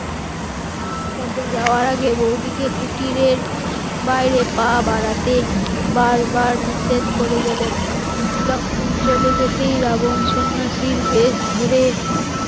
তবে যাওয়ার আগে বৌদিকে কুটিরের বাইরে পা বাড়াতে বারবার নিষেধ করে গেলেন, লক্ষণ চলে যেতে রাবণ সন্ন্যাসীর বেশ ধরে